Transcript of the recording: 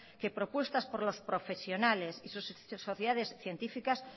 que propuestas por los profesionales y sus sociedades científicas